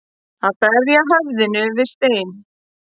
Að berja höfðinu við steininn